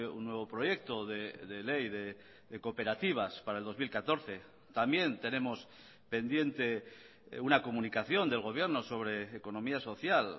un nuevo proyecto de ley de cooperativas para el dos mil catorce también tenemos pendiente una comunicación del gobierno sobre economía social